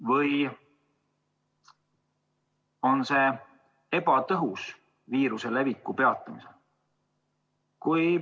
Või on see ebatõhus viiruse leviku peatamiseks?